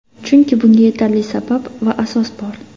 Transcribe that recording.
Chunki bunga yetarli sabab va asos bor.